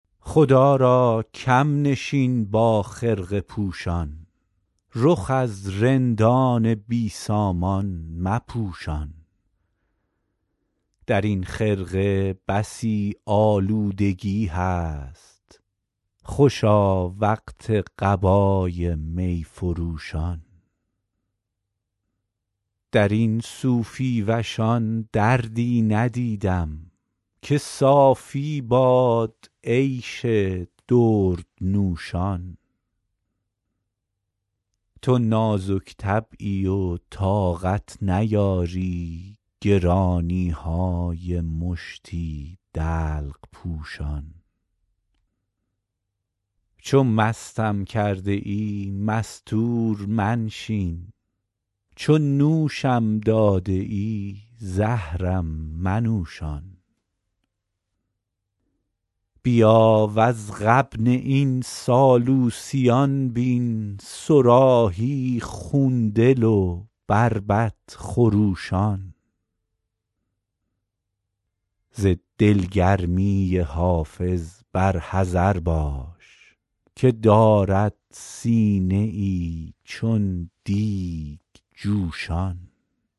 خدا را کم نشین با خرقه پوشان رخ از رندان بی سامان مپوشان در این خرقه بسی آلودگی هست خوشا وقت قبای می فروشان در این صوفی وشان دردی ندیدم که صافی باد عیش دردنوشان تو نازک طبعی و طاقت نیاری گرانی های مشتی دلق پوشان چو مستم کرده ای مستور منشین چو نوشم داده ای زهرم منوشان بیا وز غبن این سالوسیان بین صراحی خون دل و بربط خروشان ز دلگرمی حافظ بر حذر باش که دارد سینه ای چون دیگ جوشان